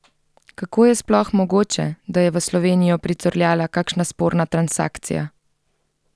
Kako je sploh mogoče, da je v Slovenijo pricurljala kakšna sporna transakcija?